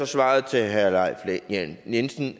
svaret til herre leif lahn jensen